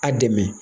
A dɛmɛ